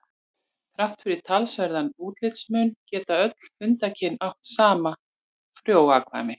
Þrátt fyrir talsverðan útlitsmun geta öll hundakyn átt saman frjó afkvæmi.